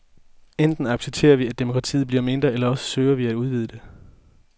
Enten accepterer vi, at demokratiet bliver mindre, eller også søger vi at udvide det.